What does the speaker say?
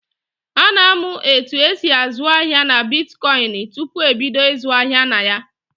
A na-amụ etu esị azụ ahịa na bitkọịnị tupu ebido ịzụ ahịa na ya.